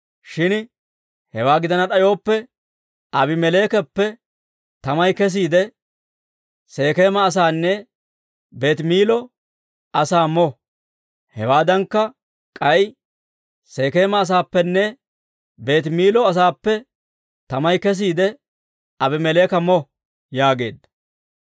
Shin hewaa gidana d'ayooppe, Aabimeleekappe tamay kesiide, Sekeema asaanne Beetimiillo asaa mo; hewaaddankka k'ay, Sekeema asaappenne Beetimiillo asaappe tamay kesiide, Abimeleeka mo» yaageedda.